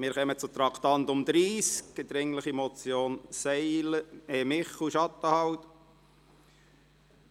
Wir kommen zum Traktandum 30, die dringliche Motion Michel, Schattenhalb.